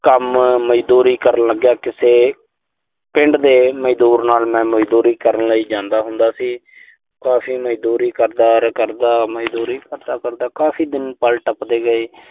ਕੰਮ, ਮਜ਼ਦੂਰੀ ਕਰਨ ਲੱਗਿਆ ਕਿਸੇ ਪਿੰਡ ਦੇ ਮਜ਼ਦੂਰ ਨਾਲ ਮੈਂ ਮਜ਼ਦੂਰੀ ਕਰਨ ਲਈ ਜਾਂਦਾ ਹੁੰਦਾ ਸੀ। ਕਾਫ਼ੀ ਮਜ਼ਦੂਰੀ ਕਰਦਾ-ਕਰਦਾ, ਮਜ਼ਦੂਰੀ ਕਰਦਾ-ਕਰਦਾ ਕਾਫ਼ੀ ਦਿਨ, ਪਲ ਟੱਪਦੇ ਗਏ।